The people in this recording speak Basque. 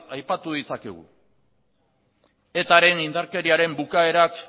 aipatu ditzakegu eta ren indarkeriaren bukaerak